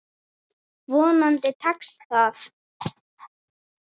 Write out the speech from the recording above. Vonandi tekst það.